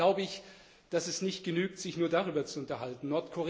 Dennoch glaube ich, dass es nicht genügt, sich nur darüber zu unterhalten.